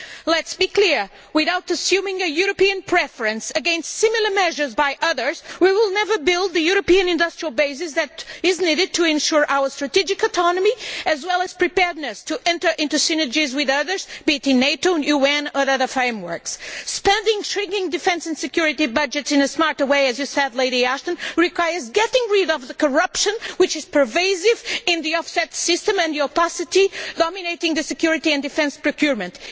Let us be clear without assuming a European preference against similar measures by others, we will never build the European industrial base that is needed to ensure our strategic autonomy, as well as preparedness to enter into synergies with others, be it in NATO, the UN or other frameworks Spending shrinking defence and security budgets in a smarter way as Baroness Ashton said requires getting rid of the corruption which is pervasive in the offset system, and the opacity dominating security and defence procurement.